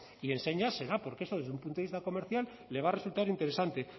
y enseñas será porque eso desde un punto de vista comercial le va a resultar interesante